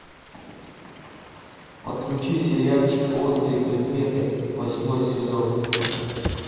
подключи сериальчик острые предметы восьмой сезон